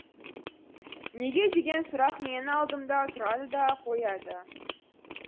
неге деген сұрақ менің алдымда тұрады да қояды